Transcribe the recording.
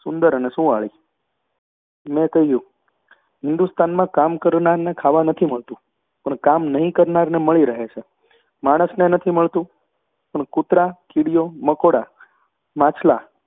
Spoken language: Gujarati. સુંદર, સુંવાળી મેં કહ્યું હિંદુસ્તાનમાં કામ કરનારને ખાવા નથી મળતું પણ કામ નહીં કરનારને મળી રહે છે. માણસને નથી મળતું, પણ કૂતરાં કીડીઓ મંકોડા માછલાં